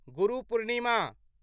Guru Purnima